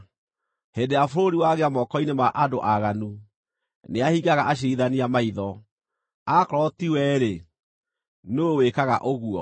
Hĩndĩ ĩrĩa bũrũri wagĩa moko-inĩ ma andũ aaganu, nĩahingaga aciirithania maitho. Akorwo ti we-rĩ, nũũ wĩkaga ũguo?